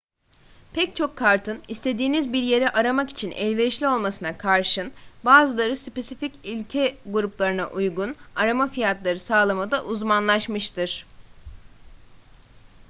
pek çok kartın istediğiniz bir yeri aramak için elverişli olmasına karşın bazıları spesifik ülke gruplarına uygun arama fiyatları sağlamada uzmanlaşmıştır